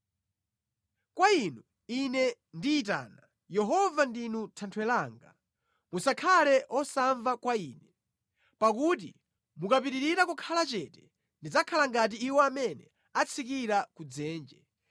Kwa Inu ine ndiyitana, Yehova ndinu Thanthwe langa; musakhale osamva kwa ine. Pakuti mukapitirira kukhala chete, ndidzakhala ngati iwo amene atsikira ku dzenje.